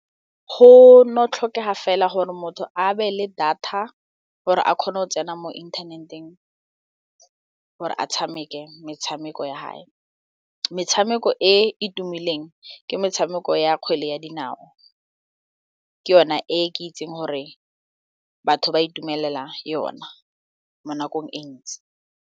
Go no tlhokega fela gore motho a be le data gore a kgone go tsena mo internet-eng gore a tshameke metshameko ya gae, metshameko e e tumileng ke metshameko ya kgwele ya dinao ke yone e ke itseng gore batho ba itumelela yona mo nakong e ntsi.